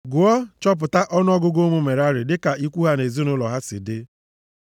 “Gụọ, chọpụta ọnụọgụgụ ụmụ Merari dịka ikwu ha na ezinaụlọ ha si dị.